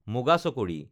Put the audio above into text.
মুগা চকৰী